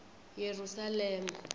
yerusalema